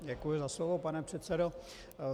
Děkuji za slovo, pane předsedo.